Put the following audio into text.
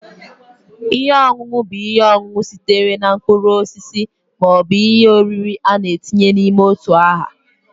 Ihe ọṅụṅụ bụ ihe ọṅụṅụ sitere na mkpụrụ osisi ma ọ bụ ihe oriri a na-etinye n'ime otu aha